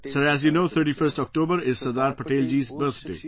Sir, as you know, 31st October is Sardar Patel ji's birthday